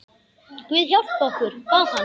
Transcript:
Guð hjálpi okkur, bað hann.